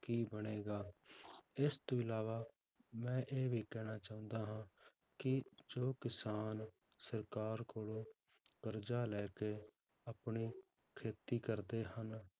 ਕੀ ਬਣੇਗਾ, ਇਸ ਤੋਂ ਇਲਾਵਾ ਮੈਂ ਇਹ ਵੀ ਕਹਿਣਾ ਚਾਹੁੰਦਾ ਹਾਂ ਕਿ ਜੋ ਕਿਸਾਨ ਸਰਕਾਰ ਕੋਲੋਂ ਕਰਜ਼ਾ ਲੈ ਕੇ ਆਪਣੀ ਖੇਤੀ ਕਰਦੇ ਹਨ,